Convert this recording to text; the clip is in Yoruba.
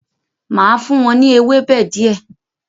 Máa fún wọn ní ewébẹ̀ di ẹ